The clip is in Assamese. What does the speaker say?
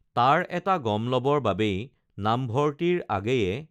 তাৰ এটা গম লবৰ বাবেই নামভৰ্তিৰ আগেয়ে